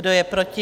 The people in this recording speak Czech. Kdo je proti?